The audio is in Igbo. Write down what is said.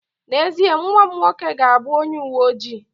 N'ezie, nwa m nwoke ga-abụ onye uwe ojii